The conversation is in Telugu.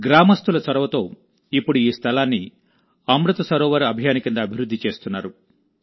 గ్రామస్థుల చొరవతోఇప్పుడు ఈ స్థలాన్ని అమృత్ సరోవర్ అభియాన్ కింద అభివృద్ధి చేస్తున్నారు